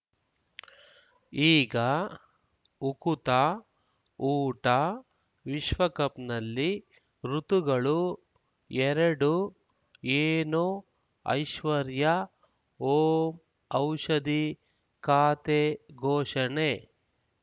ಈಗ ಉಕುತ ಊಟ ವಿಶ್ವಕಪ್‌ನಲ್ಲಿ ಋತುಗಳು ಎರಡು ಏನು ಐಶ್ವರ್ಯಾ ಓಂ ಔಷಧಿ ಖಾತೆ ಘೋಷಣೆ